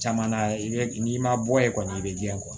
Caman na i bɛ n'i ma bɔ ye kɔni i bɛ ji kɔ